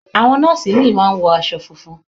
Àwọn nọ́ọ̀sì ìmíì máa ń wọ aṣọ funfun.